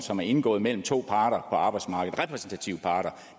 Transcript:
som er indgået mellem to parter på arbejdsmarkedet repræsentative parter